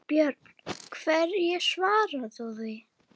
Björn: Hverju svarar þú því?